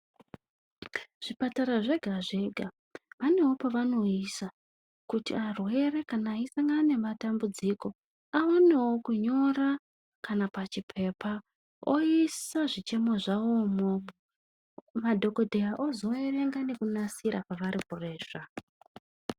Zvipatara zvega zvega vanewo pavanoisa kuti arwere kana aisangana nematambudziko awanewo kunyora kana pachipepa oisa zvichemo zvawo imowomwo. Madhokoteya azoverenga nekunasira pavari kuresva